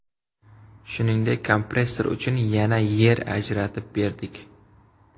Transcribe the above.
Shuningdek, kompressor uchun yana yer ajratib berdik.